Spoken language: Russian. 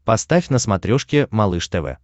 поставь на смотрешке малыш тв